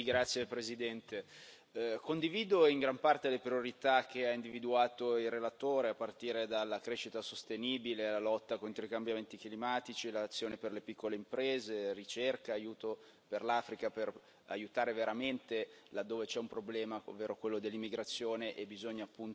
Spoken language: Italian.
Signora Presidente, onorevoli colleghi, condivido in gran parte le priorità che ha individuato il relatore, a partire dalla crescita sostenibile, alla lotta contro i cambiamenti climatici, all'azione per le piccole imprese e la ricerca, all'aiuto per l'Africa per aiutare veramente là dove c'è un problema, ovvero quello dell'immigrazione, e bisogna